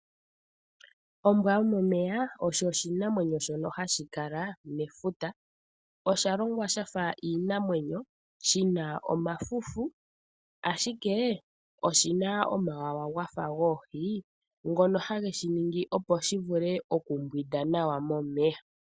Ombwa yomo meya osho oshinamweno shono hashi kala mefuta osha longwa shafa iinamwenyo shina omafufu ashike oshina omawawa gafa goohi ngono hageshi ningi opo shi vule oku mbwida nawa momeya.